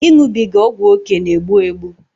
ịṅụbiga ọgwụókè na-egbu egbu